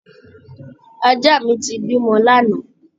Ajá mi ti bímọ lánàá